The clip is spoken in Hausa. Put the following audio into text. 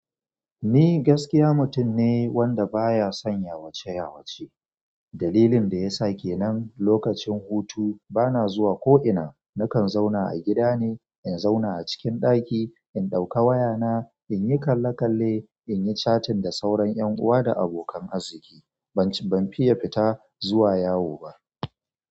Ni gaskiya mutum ne wanda baya son yawace yawace. Dalilin da yasa kenan lokacin hutu bana zuwa ko'ina. Nakan zauna a gida ne, in zauna a cikin ɗaki, in ɗauka wayana, in yi kalle kalle, in yi catin da sauran ƴan'uwa da abokan arziki. Ban fiye fita zuwa yawo ba.